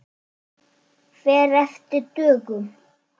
Fer eftir dögum.